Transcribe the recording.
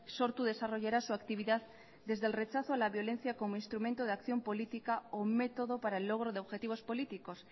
sortu desarrollará su actividad desde el rechazo a la violencia como instrumento de acción política o método para el logro de objetivos políticos